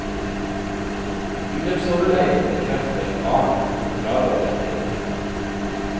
Bydelsoverlegen bekrefter faren, men fraråder flytting.